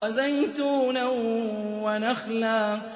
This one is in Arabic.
وَزَيْتُونًا وَنَخْلًا